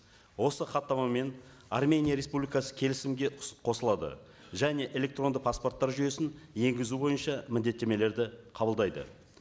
осы хаттамамен армения республикасы келісімге қосылады және электрондық паспорттар жүйесін енгізу бойынша міндеттемелерді қабылдайды